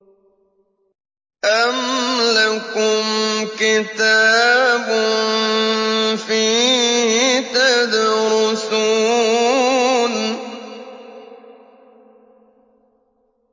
أَمْ لَكُمْ كِتَابٌ فِيهِ تَدْرُسُونَ